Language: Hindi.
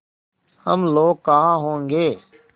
हम लोग कहाँ होंगे